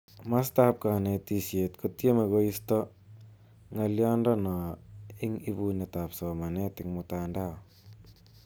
Matap kanetiset ko tieme koisto ngaliondo no ing ipunet ap somenet ing mtandao.